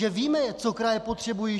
Že víme, co kraje potřebují.